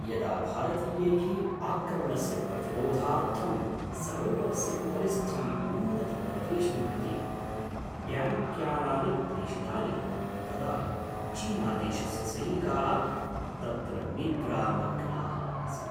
यदा भारतीयैः आक्रमणस्य प्रतिरोधार्थं सरोवरस्य उपरिस्थम् उन्नतप्रदेशं प्रति ट्याङ्क्यानानि प्रेषितानि तदा चीनादेशस्य सैनिकाः तत्र निद्रामग्नाः आसन्।